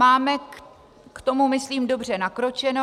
Máme k tomu, myslím, dobře nakročeno.